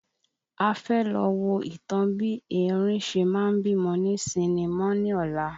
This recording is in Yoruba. A fẹ́ lọ wo ìtàn bí erin ṣe ma ń bímọ ní sinimọ́ ní ọ̀la